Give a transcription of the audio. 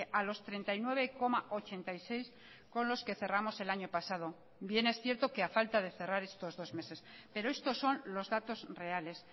a los treinta y nueve coma ochenta y seis con los que cerramos el año pasado bien es cierto que a falta de cerrar estos dos meses pero estos son los datos reales